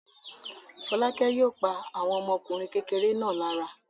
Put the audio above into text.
Fọ́lákẹ́ yóò pa àwọn ọmọkùnrin kékeré náà lára.